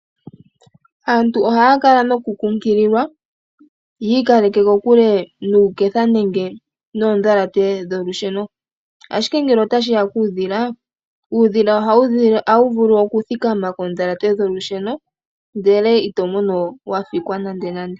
Aantu ohaya kala noku kunkililwa yi ikaleke kikule nuuketha nenge noodhalate dholusheno. Ashike ngele otashiya kuudhila uudhila ohawu vulu oku thikama koodhalate dholusheno ndele ito mono wa fikwa nande nande.